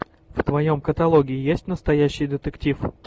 в твоем каталоге есть настоящий детектив